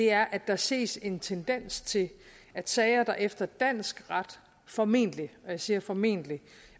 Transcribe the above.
er at der ses en tendens til at sager der efter dansk ret formentlig og jeg siger formentlig